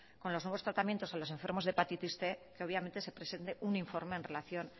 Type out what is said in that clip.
con los nuevos tratamientos a los enfermos de hepatitis cien que obviamente se presente un informe en relación